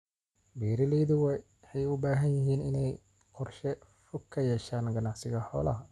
Beeralaydu waxay u baahan yihiin inay qorshe fog ka yeeshaan ganacsiga xoolaha.